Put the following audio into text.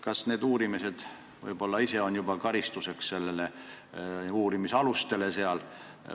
Kas need uurimised ei või juba ise olla uurimisalustele karistuseks?